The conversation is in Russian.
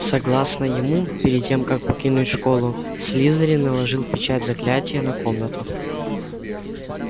согласно ему перед тем как покинуть школу слизерин наложил печать заклятия на комнату